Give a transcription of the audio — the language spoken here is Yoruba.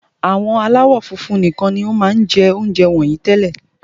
Àwọn aláwọ̀ funfun nikan ni won máa n je ounjẹ wọnyii tẹ́lẹ̀